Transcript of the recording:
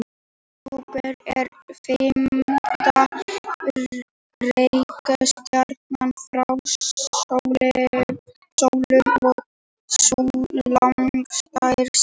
Júpíter er fimmta reikistjarnan frá sólu og sú langstærsta.